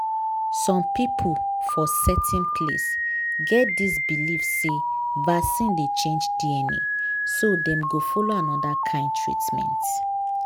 some people for certain place get this believe say vaccine dey change dna so dem go follow another kind treatment.